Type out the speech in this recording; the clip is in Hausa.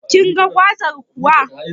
Kinga gwazar kuwa?